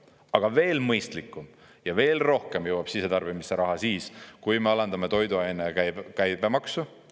Aga veel mõistlikum ja veel rohkem jõuab sisetarbimisse raha siis, kui me alandame toiduainete käibemaksu.